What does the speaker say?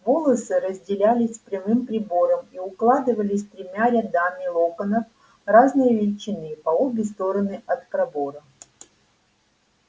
волосы разделялись прямым прибором и укладывались тремя рядами локонов разной величины по обе стороны от пробора